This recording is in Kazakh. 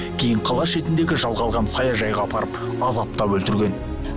кейін қала шетіндегі жалға алған саяжайға апарып азаптап өлтірген